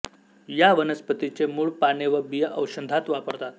या वनस्पतीचे मूळ पाने व बिया औषधांत वापरतात